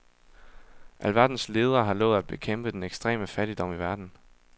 Alverdens ledere har lovet at bekæmpe den ekstreme fattigdom i verden.